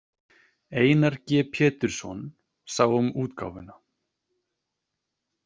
Einar G Pétursson sá um útgáfuna.